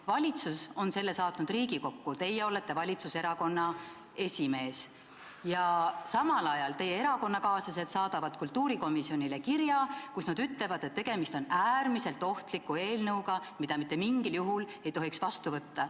Valitsus on selle eelnõu saatnud Riigikokku, teie olete valitsuserakonna esimees, ja samal ajal teie erakonnakaaslased saadavad kultuurikomisjonile kirja, milles nad ütlevad, et tegemist on äärmiselt ohtliku eelnõuga, mida mitte mingil juhul ei tohiks vastu võtta.